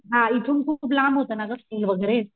हा इथून खूप लांब होता ना गं स्कूल वगैरे.